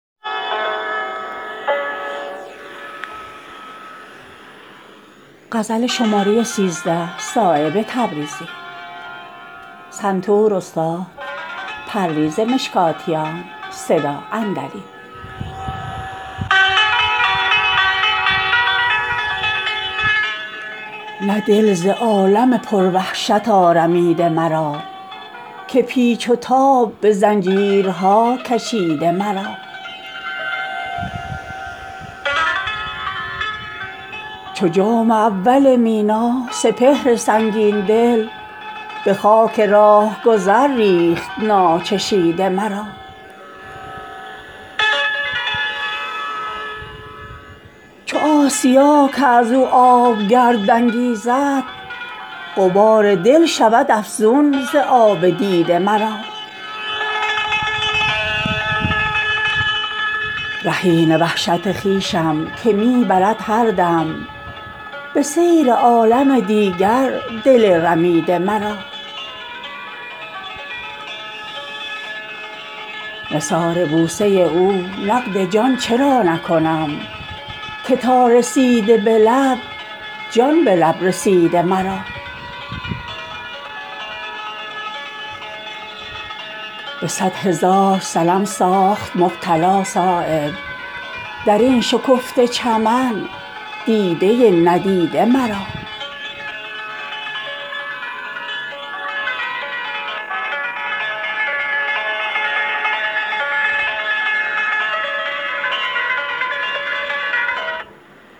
نه دل ز عالم پر وحشت آرمیده مرا که پیچ و تاب به زنجیرها کشیده مرا رهین وحشت خویشم که می برد هر دم به سیر عالم دیگر دل رمیده مرا چو آسیا که ازو آب گرد انگیزد غبار دل شود افزون ز آب دیده مرا چو جام اول مینا سپهر سنگین دل به خاک راهگذر ریخت ناچشیده مرا بریده باد زبانش به تیغ خاموشی کسی که از تو به تیغ زبان بریده مرا چگونه دست نوازش مرا دهد تسکین نکرد کوه غم و درد آرمیده مرا به قطره تشنگی ریگ کم نمی گردد چه دل خنک شود از باده چکیده مرا نگشته است دو تا پشتم از کهنسالی که قد ز بار گنه چون کمان خمیده مرا دهان شیر و پلنگ است مهد راحت من ز بس زبان ملامتگران گزیده مرا نثار بوسه او نقد جان چرا نکنم که تا رسیده به لب جان به لب رسیده مرا به صد هزار صنم ساخت مبتلا صایب درین شکفته چمن دیده ندیده مرا